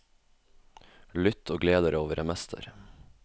Lytt og gled dere over en mester.